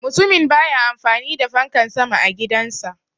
Mutumin baya amfani da fankan sama a gidan sa.